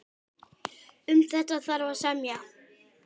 Um þetta þarf að semja.